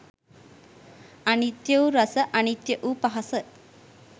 අනිත්‍ය වූ රස අනිත්‍ය වූ පහස